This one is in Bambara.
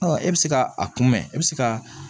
Ɔ e bɛ se ka a kunbɛ e bɛ se ka